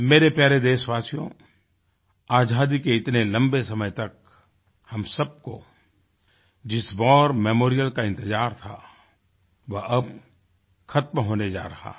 मेरे प्यारे देशवासियो आजादी के इतने लम्बे समय तक हम सबको जिस वार मेमोरियल का इन्तजार था वह अब ख़त्म होने जा रहा है